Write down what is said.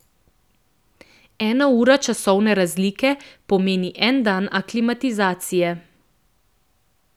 Ena ura časovne razlike pomeni en dan aklimatizacije.